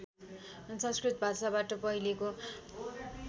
संस्कृत भाषाबाट पहिलेको